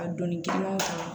A doni kelen ma